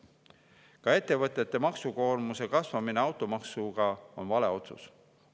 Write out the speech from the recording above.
Ka ettevõtete maksukoormuse kasvatamine automaksu kaudu on vale otsus.